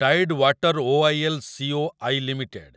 Tied water OIL. Co I limited